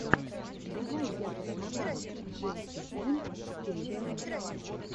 давай я посмотрю джейси энд кэйси